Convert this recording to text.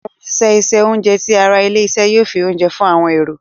Àwọn òṣìṣẹ́ isẹ oúnjẹ tí àrà ilé-isé yóò fí oúnjẹ fún àwọn èrò.